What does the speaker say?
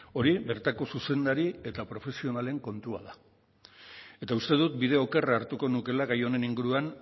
hori bertako zuzendari eta profesionalen kontua da eta uste dut bide okerra hartuko nukeela gai honen inguruan